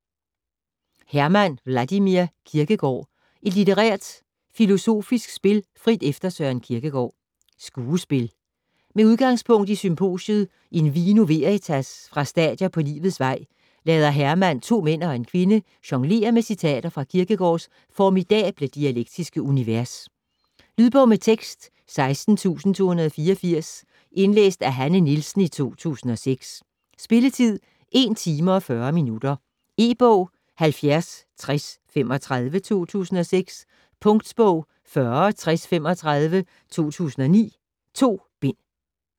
Herman, Wladimir: Kierkegård: et litterært - filosofisk spil frit efter Søren Kierkegaard Skuespil. Med udgangspunkt i symposiet In vino veritas fra Stadier på livets vej, lader Herman to mænd og en kvinde jonglere med citater fra Kierkegaards formidable dialektiske univers. Lydbog med tekst 16284 Indlæst af Hanne Nielsen, 2006. Spilletid: 1 timer, 40 minutter. E-bog 706035 2006. Punktbog 406035 2009. 2 bind.